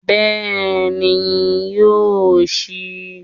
Bẹ́ẹ̀ni yóò síi